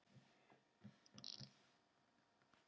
Helga: Óskar, ert þú ánægður með að vera kominn heim?